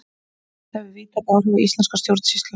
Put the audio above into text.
þetta hefur víðtæk áhrif á íslenska stjórnsýslu